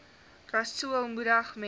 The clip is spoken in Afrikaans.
rasool moedig mense